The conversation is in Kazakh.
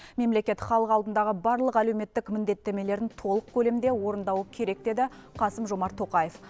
мемлекет халық алдындағы барлық әлеуметтік міндеттемелерін толық көлемде орындауы керек деді қасым жомарт тоқаев